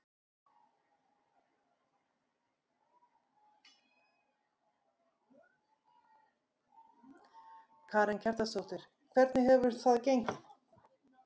Karen Kjartansdóttir: Hvernig hefur það gengið?